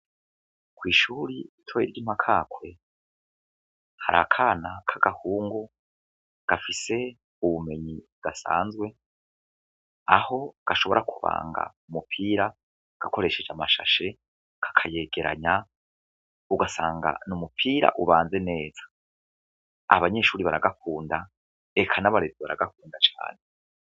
Kw'ishuri ritoye ry'i Makakwe har'akana k'agahungu gafise ubumenyi budasanzwe, aho gashobora kubanga umupira gakoresheje amashashe, kakayegeranya, ugasanga n'umupira ubanze neza, abanyeshuri baragakunda eka n'abarezi baragakunda cane.